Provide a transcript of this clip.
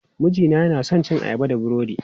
Mijina yana son cin ayaba da burodi.